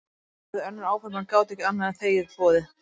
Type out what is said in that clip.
Þau höfðu önnur áform en gátu ekki annað en þegið boðið.